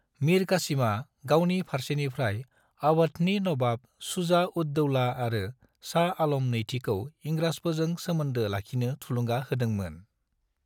मीर कासिमा गावनि फारसेनिफ्राय अवधनि नवाब शुजा-उद-दौला आरो शाह आलम नैथिखौ इंराजफोरजों सोमोन्दो लाखिनो थुलुंगा होदोंमोन।